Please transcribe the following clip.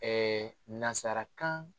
nansarakan